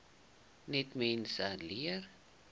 net mense leer